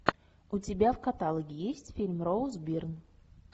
у тебя в каталоге есть фильм роуз бирн